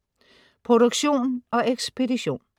Produktion og ekspedition: